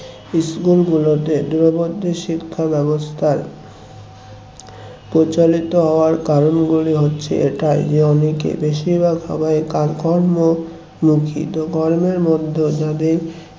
school গুলোতে দূরবর্তী শিক্ষাব্যবস্থার প্রচলিত হওয়ার কারণ গুলি হচ্ছে এটা যে অনেকে বেশিরভাগ সময়ে কাজ কর্ম মুখী তো কর্মের মধ্যেও যাদের